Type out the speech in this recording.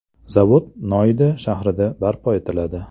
Zavod Noida shahrida barpo etiladi.